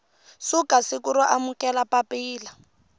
suka siku ro amukela papila